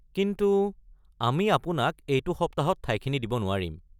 কিন্তু আমি আপোনাক এইটো সপ্তাহত ঠাইখিনি দিব নোৱাৰিম।